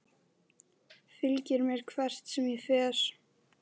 Fylgir mér hvert sem ég fer.